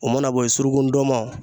O mana bo ye suruku ndomɔn